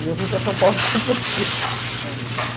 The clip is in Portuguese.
E eu vim para São Paulo e comprei um sítio.